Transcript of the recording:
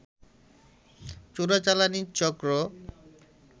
চোরাচালানি চক্র